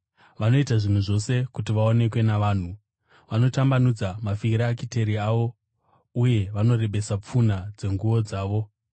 “Vanoita zvinhu zvose kuti vaonekwe navanhu. Vanotambanudza mafirakiteri avo uye vanorebesa pfunha dzenguo dzavo.